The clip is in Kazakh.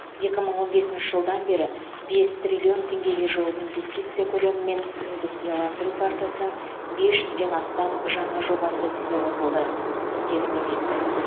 екі мың он бесінші жылдан бері бес триллион теңгеге жуық инвестиция көлемімен индустрияландыру картасының бес жүзден астам жаңа жобасы іске қосылды деді министр